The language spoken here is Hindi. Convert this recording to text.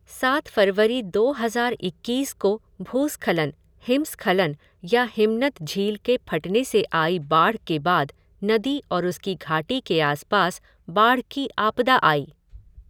सात फ़रवरी दो हज़ार इक्कीस को भूस्खलन, हिमस्खलन या हिमनद झील के फटने से आई बाढ़ के बाद नदी और उसकी घाटी के आस पास बाढ़ की आपदा आई।